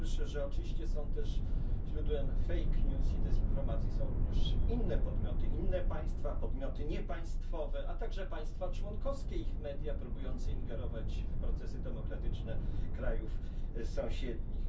Po pierwsze że oczywiście źródłem dezinformacji i fake news są również inne podmioty, inne państwa, podmioty niepaństwowe, a także państwa członkowskie i ich media próbujące ingerować w procesy demokratyczne krajów sąsiednich.